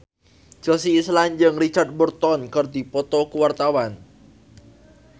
Chelsea Islan jeung Richard Burton keur dipoto ku wartawan